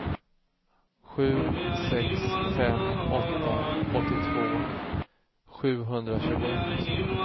sju sex fem åtta åttiotvå sjuhundratjugoett